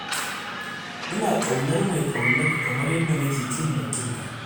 Ina ƙaunar mai ƙaunar ka kamar yadda nake ƙin mai ƙin ka.